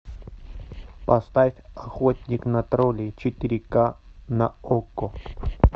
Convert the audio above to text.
поставь охотник на троллей четыре ка на окко